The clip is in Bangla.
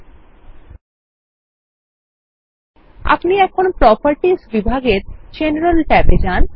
ল্টপাউসেগ্ট আপনিএখন প্রোপার্টিসবিভাগে জেনারেল ট্যাবেযান